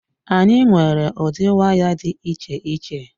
Anyị nwere ụdị waya dị iche iche.